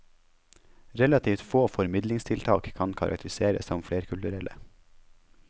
Relativt få formidlingstiltak kan karakteriseres som flerkulturelle.